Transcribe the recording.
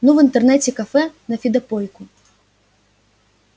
ну в интернете-кафе на фидопойку